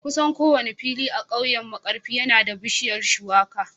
Kusan kowane fili a kauyen Markarfi yana da bishiyar Shuwaka